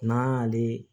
N'an y'ale